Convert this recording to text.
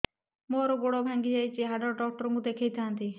ମୋର ଗୋଡ ଭାଙ୍ଗି ଯାଇଛି ହାଡ ଡକ୍ଟର ଙ୍କୁ ଦେଖେଇ ଥାନ୍ତି